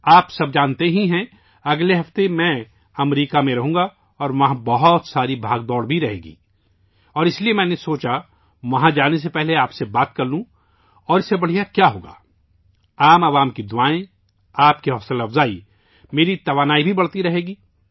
آپ جانتے ہیں، میں اگلے ہفتے امریکہ میں رہوں گا اور وہاں بہت زیادہ بھاگ دوڑ ہوگی، اور اس لیے میں نے سوچا کہ جانے سے پہلے میں آپ سے بات کروں، اور اس سے بہتر کیا ہوگا ؟ لوگوں کا آشیرواد، آپ کی ترغیب ، میری توانائی بھی بڑھتی رہے گی